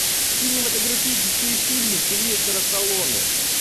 кинематографические фильмы сильвестра сталлоне